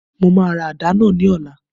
Mo máa ra àdá náà ní ọ̀la